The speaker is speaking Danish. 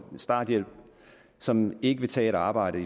starthjælp som i fremtiden ikke vil tage et arbejde